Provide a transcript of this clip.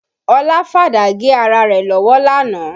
Ọlá fàdá gé ara rẹ̀ lọ́wọ́ lánàá